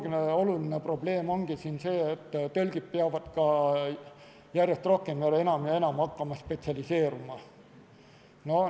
Teine oluline probleem ongi siin see, et tõlgid peavad ka järjest rohkem, üha enam ja enam hakkama spetsialiseeruma.